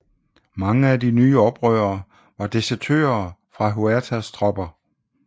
Mange af de nye oprørere var desertører fra Huertas tropper